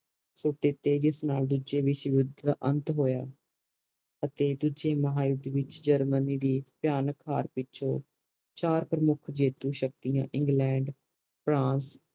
ਸੁੱਟ ਦਿਤੇ ਜਿਸ ਨਾਲ ਦੂਜੇ ਵਿਸ਼ਵ ਯੂੱਧ ਦਾ ਅੰਤ ਹੋਯਾ ਅਤੇ ਦੂਜੇ ਮਹਾ ਯੂੱਧ ਜਰਮਨੀ ਦੀ ਭਿਣਕ ਹਰ ਪਿੱਛੋਂ ਚਾਰ ਪ੍ਰਮੁੱਖ ਜੀਤੂ ਸ਼ਕਤੀਆਂ ਇੰਗਲੈਂਡ ਫਰਾਂਸ